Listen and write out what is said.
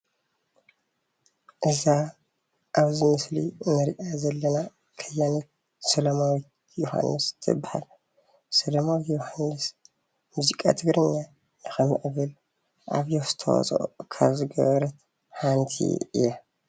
እዛ ኣብዚ ምስሊ እንሪኣ ዘለና ከያኒት ሰላማዊት ዮሃንስ ትበሃል። ሰላማዊት ዮሃንስ ሙዚቃ ትግርኛ ንኽሞዕብል ዓብዪ ኣስተዋፅኦ ካብ ዝገበረት ሓንቲ እያ።